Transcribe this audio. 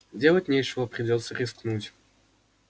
делать нечего придётся рискнуть